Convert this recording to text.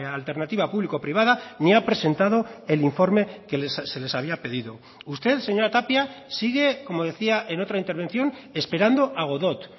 alternativa público privada ni ha presentado el informe que se les había pedido usted señora tapia sigue como decía en otra intervención esperando a godot